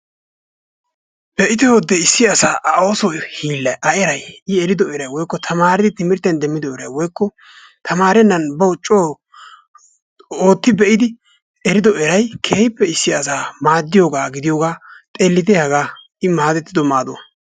Be'ite hodde issi asaa A ooso hiillay, A eray, I erido eray, woykko tamaaridi timirttiyan demmido eray woykko tamaarennan bawu coo ootti be'idi erido eray keehippe issi asaa maaddiyogaa gidiyogaa xeelitte hagaa, I maadettido maaduwa.